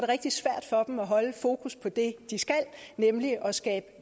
rigtig svært for dem at holde fokus på det de skal nemlig at skabe